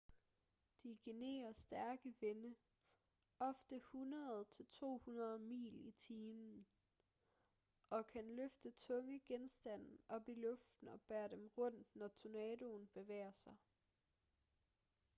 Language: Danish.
de genererer stærke vinde ofte 100-200 mil/time og kan løfte tunge genstande op i luften og bære dem rundt når tornadoen bevæger sig